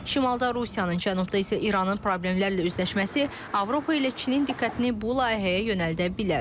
Şimalda Rusiyanın, cənubda isə İranın problemlərlə üzləşməsi Avropa ilə Çinin diqqətini bu layihəyə yönəldə bilər.